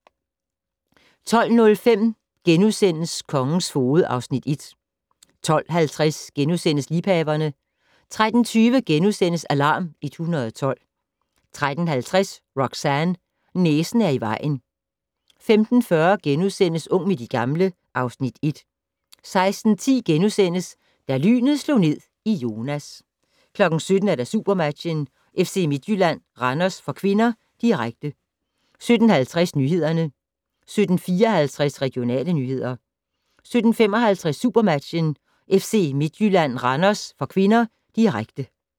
12:05: Kongens foged (Afs. 1)* 12:50: Liebhaverne * 13:20: Alarm 112 * 13:50: Roxanne - næsen er i vejen 15:40: Ung med de gamle (Afs. 1)* 16:10: Da lynet slog ned i Jonas * 17:00: SuperMatchen: FC Midtjylland-Randers (k), direkte 17:50: Nyhederne 17:54: Regionale nyheder 17:55: SuperMatchen: FC Midtjylland-Randers (k), direkte